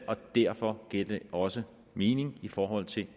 og derfor giver det også mening i forhold til